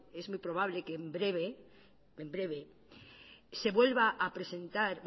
es muy probable que en breve se vuelva a presentar